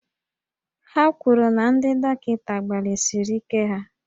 Ha kwuru na ndị dọkịta gbalịsiri ike ha